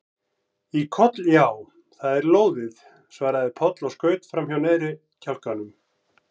Í koll já, það er lóðið, svaraði Palli og skaut fram neðri kjálkanum.